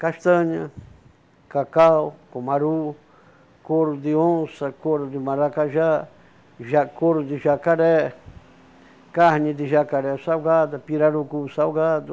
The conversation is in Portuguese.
Castanha, cacau, cumaru, couro de onça, couro de maracajá, ja couro de jacaré, carne de jacaré salgada, pirarucu salgado,